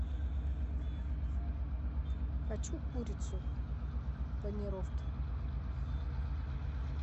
хочу курицу в панировке